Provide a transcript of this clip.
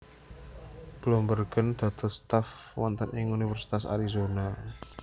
Bloembergen dados staf wonten ing Universitas Arizona